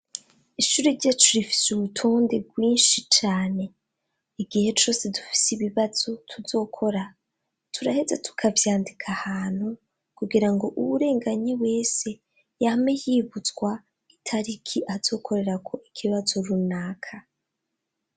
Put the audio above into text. Ishuri ryacu rifise ubutonde bwinshi cane, igihe cose dufise ibibazo tuzokora turaheza tukavyandika ahantu kugira ngo uwurenganye wese yame yibutswa itariki azokorerako ikibazo runaka.